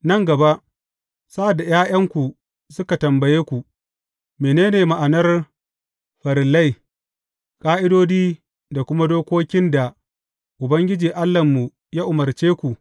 Nan gaba, sa’ad da ’ya’yanku suka tambaye ku, Mene ne ma’anar farillai, ƙa’idodi da kuma dokokin da Ubangiji Allahnmu ya umarce ku?